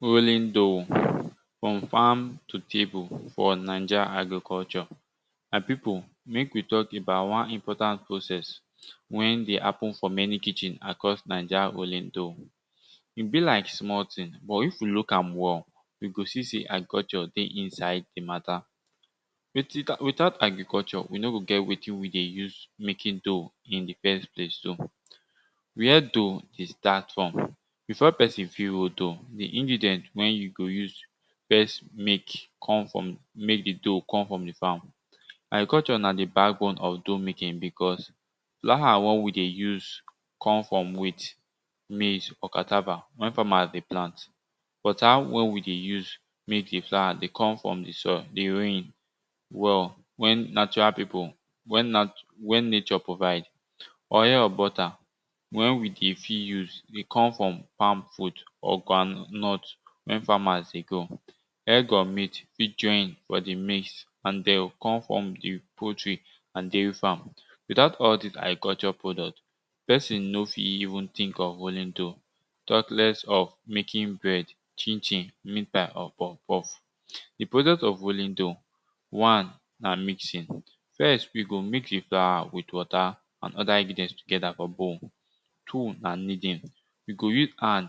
Rolling dough from farm to table for naija agriculture. My pipu mek we talk about important process wey dey happen for many kitchen across naija rolling dough. E be like small thing but if we look am well, you go see sey agriculture dey inside di mata. Without agriculture, we no go get wetin we go use making dough in di first place. Where dough dey start from. Before pesin fit roll dough, di ingredient wen you go use first make the dough come from di farm. Agriculture na di back bone of dough making because flour wey we dey use come from wheat, maize, or cassava wer farmers the plant. Water wen we dey use make the flour dey come from di soil di rain wen natural pipu wen nature provide. Oil and butter wen we dey fit use dey come from palm fruit or groundnut wen farmers dey grow. Egg or meat fit join for the mix and dem come from di poultry and di farm. Without all dis agriculture product, pesin no fit even think of rolling dough talkless of making bread, chin chin, meat pie or poff poff. Di process of making dough one na mixing. First you go mix di floor with water and other ingredients together for bowl, two na nodding, you go use hand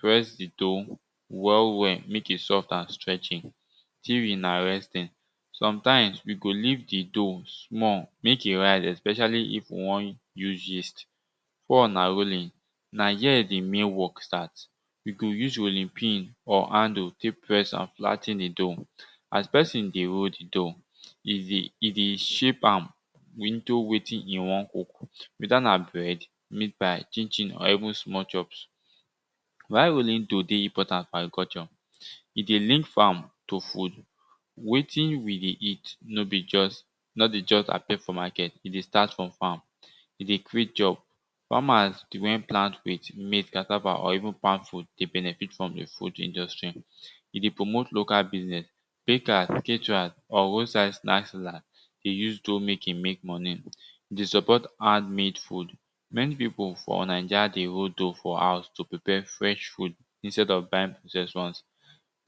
press di dough well well mek e soft and stregthy. Three na rising. Sometimes we go leave di dough small mek e rise especially if we won use yeast. Four na rolling na here di main work start you go use rolling pin or handle tek press or flat ten di dough as pesin dey roll di dough, e dey shape am into wetin e want weda na bread, meatpie chinchin or even small chops. Why rolling dough dey important for agriculture? E dey link farm to food, wetin we dey eat no be just no dey just appear for market e dey start from farm, e dey create job, farmers wen plant wheat, maize, cassava or even palm fruit dey benefit from food industry, e dey promote local business, bakers, caterers or road side snacks dealers dey use dough making mek moni dey support hand made food. Wen pipu for naija dey roll dough for house to prepare fresh food instead of buying processed ones,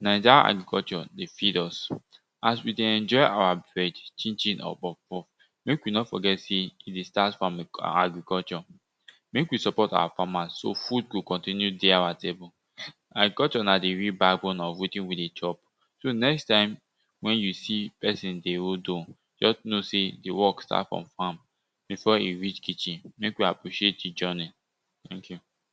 naija agriculture dey feed us. As we dey enjoy our bread, chin chin or poff poff mek we no forget sey e dey start from agriculture, mek we support our farmers so food go continue dey awa table. Agriculture na di real back bone of wetin we dey chop so next time wen you see pesin dey role dough just know sey di work start from farm before e reach kitchen mek we appreciate di journey thank you.